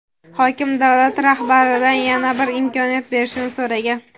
Hokim davlat rahbaridan yana bir imkoniyat berishni so‘ragan.